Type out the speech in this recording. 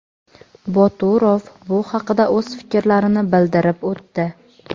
Boturov bu haqida o‘z fikrlarini bildirib o‘tdi.